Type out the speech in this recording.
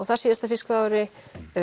þarsíðasta fiskveiðiári